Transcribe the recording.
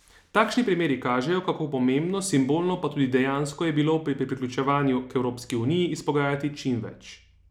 Takšni primeri kažejo, kako pomembno, simbolno, pa tudi dejansko je bilo pri priključevanju k Evropski uniji izpogajati čim več.